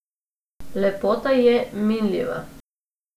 Lepota je minljiva.